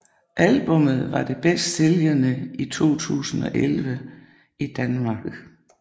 Albummet var det bedst sælgende i 2011 i Danmark